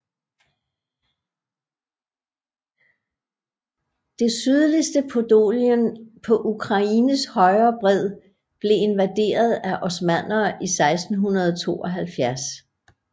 Det sydligste Podolien på Ukraines højre bred blev invaderet af osmannere i 1672